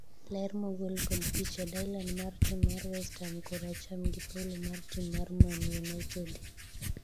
ler mogol kod picha, Dilan mar tim mar west ham(koracham) gi paulo mar tim mar man united